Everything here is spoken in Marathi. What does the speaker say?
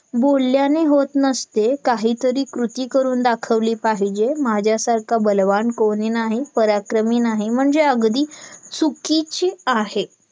बोलण्याने होत नसते काहीतरी कृती करून दाखवली पाहिजेत माझ्यासारखा बलवान कोणी नाही पराक्रमी नाही म्हणजे अगदी चुकीची आहे